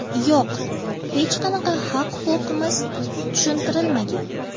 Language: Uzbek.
Yo‘q, hech qanaqa haq-huquqimiz tushuntirilmagan.